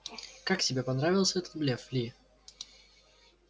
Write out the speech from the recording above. как тебе понравился этот блеф ли